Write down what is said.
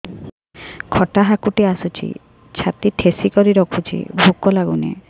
ଖଟା ହାକୁଟି ଆସୁଛି ଛାତି ଠେସିକରି ରଖୁଛି ଭୁକ ଲାଗୁନି